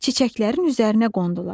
Çiçəklərin üzərinə qondular.